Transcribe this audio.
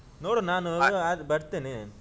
ನೋಡ್ವಾ ನಾನು ಆದ್ರೆ ಬರ್ತೆನೆ.